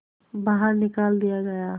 बाहर निकाल दिया गया